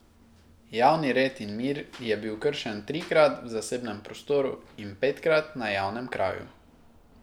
Javni red in mir je bil kršen trikrat v zasebnem prostoru in petkrat na javnem kraju.